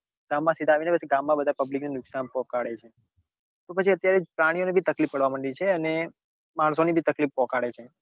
ગામ માં સીધા આવીને પછી ગામ માં બધા પબ્લિક ને નુકસાન પોકાળે છે તો પછી અત્યારે પ્રાણીઓ ને ભી તકલીફ પાડવા મંડી છે અને માણસો ને ભી તકલીફ પહોંચાડે છે.